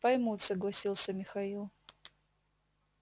поймут согласился михаил